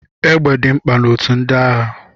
Égbè dị mkpa na otù ndị agha.